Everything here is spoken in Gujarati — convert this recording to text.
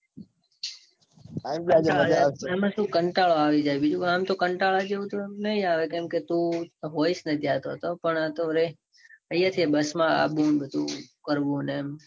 એમાં સુ કંટાળો આવી જાય. બીજું આમ તો કંટાળો નાઈ આવે. કેમ કે તું હોઇસ ને ત્યાં તો તો. પણ આતો હવે bus માં આવું ને બધૂ કરવું ને એમ.